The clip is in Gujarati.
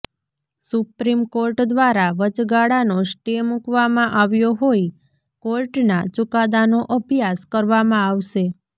સુપ્રીમ કોર્ટ દ્વારા વચગાળાનો સ્ટે મૂકવામાં આવ્યો હોઈ કોર્ટના ચુકાદાનો અભ્યાસ કરવામાં આવશે